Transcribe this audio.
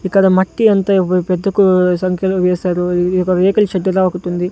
ఇక్కడ మట్టి ఎంతో ఏవొ పెద్దకు సంఖ్యలో వేశారు ఇది ఒక రేకుల షెడ్డు లా ఒకటుంది.